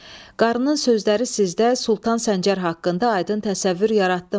Qarının sözləri sizdə Sultan Səncər haqqında aydın təsəvvür yaratdımı?